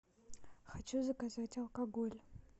хочу заказать алкоголь